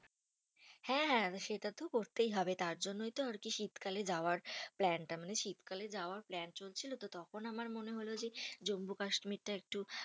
হ্যাঁ হ্যাঁ সেটা তো করতেই হবে। তার জন্যেই তো আর কি শীতকালে যাওয়ার plan টা। মানে শীতকালে যাওয়ার plan চলছিল তো তখন আমার মনে হলো যে জম্মু কাশ্মীরটা একটু